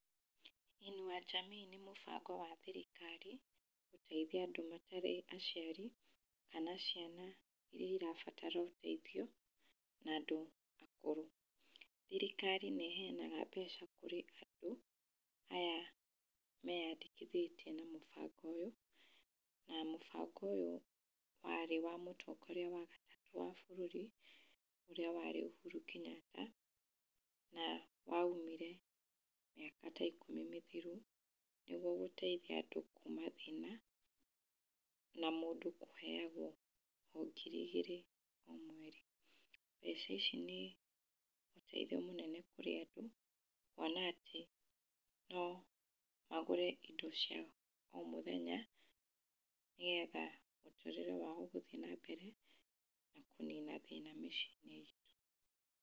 Inua Jamii nĩ mũbango wa thirikari gũteithia andũ matarĩ aciari kana ciana iria irabatara ũteithio na andũ akũrũ. Thirikari nĩ heanaga mbeca kũrĩ andũ aya meyandĩkĩthĩtie na mũbango ũyũ. Na mũbango ũyũ warĩ wa mũtongoria wa gatatũ wa bũrũri ũrĩa warĩ Uhuru Kenyatta, na waumire mĩaka ta ikũmi mĩthiru nĩguo gũteithia andũ kuma thĩna na mũndũ kũheyagwo o ngiri igĩrĩ o mweri. Mbeca ici nĩ ũteithio mũnene kũrĩ andũ kuona atĩ, no agũre indo cia o mũthenya, nĩgetha mũtũrĩre wao gũthiĩ na mbere na kũnina thĩna mĩciĩ-inĩ itũ.